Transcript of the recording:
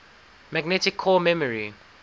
magnetic core memory